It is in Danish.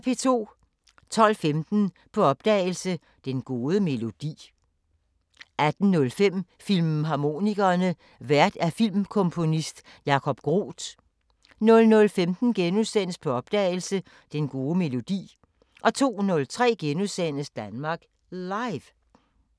12:15: På opdagelse – Den gode melodi 18:05: Filmharmonikerne: Vært filmkomponist Jacob Groth 00:15: På opdagelse – Den gode melodi * 02:03: Danmark Live *